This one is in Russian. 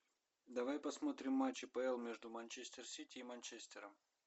давай посмотрим матч апл между манчестер сити и манчестером